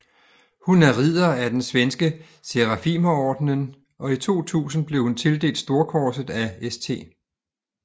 Hun er ridder af den svenske Serafimerordenen og i 2000 blev hun tildelt storkorset af St